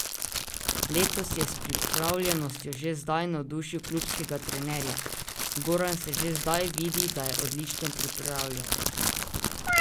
Letos je s pripravljenostjo že zdaj navdušil klubskega trenerja: 'Goran se že zdaj vidi, da je odlično pripravljen.